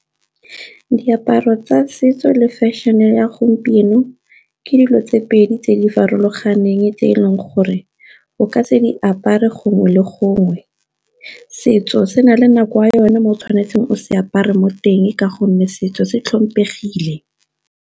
Diaparo tsa setso le fashion-e ya gompieno ke dilo tse pedi tse di farologaneng tse e leng gore o ka tse di apare gongwe le gongwe. Setso se na le nako ya yone mo o tshwanetseng o se apare mo teng ka gonne setso se tlhomphegile.